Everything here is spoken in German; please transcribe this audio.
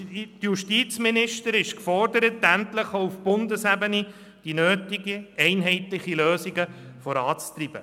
Die Justizministerin ist gefordert, endlich auch auf Bundesebene die nötigen einheitlichen Lösungen voranzutreiben.